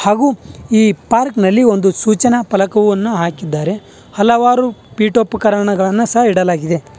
ಹಾಗು ಈ ಪಾರ್ಕ್ ನಲ್ಲಿ ಒಂದು ಸೂಚನ ಫಲಕವನ್ನು ಹಾಕಿದ್ದಾರೆ ಹಲವಾರು ಪಿಟೋಪಕರಣಗಳನ್ನ ಸಹ ಇಡಲಾಗಿದೆ.